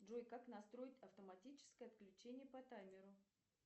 джой как настроить автоматическое отключение по таймеру